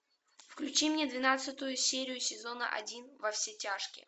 включи мне двенадцатую серию сезона один во все тяжкие